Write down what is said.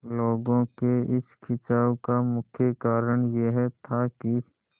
लोगों के इस खिंचाव का मुख्य कारण यह था कि